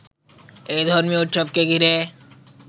এ ধর্মীয় উৎসবকে ঘিরে